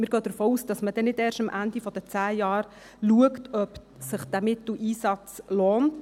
Wir gehen davon aus, dass man nicht erst gegen Ende der zehn Jahre schaut, ob sich dieser Mitteleinsatz lohnt.